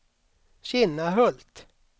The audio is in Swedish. Kinnahult